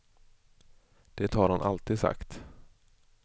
Det har han alltid sagt.